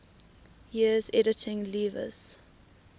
years editing lewes's